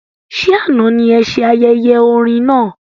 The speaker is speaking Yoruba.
Ṣe àna ní ése ayẹyẹ orin náà?